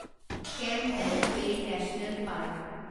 Campbell Bay National park